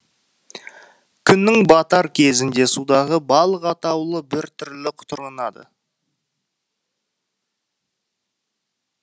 күннің батар кезінде судағы балық атаулы біртүрлі құтырынады